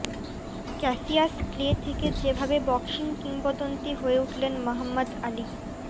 Cassius Clay থেকে যেভাবে boxing কিংবদন্তি হয়ে উঠলেন মহম্মদ আলি